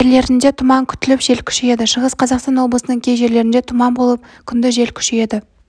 жерлерінде тұман күтіліп жел күшейеді шығыс қазақстан облысының кей жерлерінде тұман болып күндіз жел күшейеді